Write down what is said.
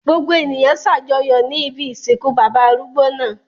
Gbogbo ènìyàn ṣàjọyọ̀ ní ibi ìsìnkú bàbá arúgbó náà.